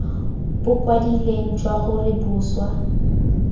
bo kwadilweng jwa gore boswa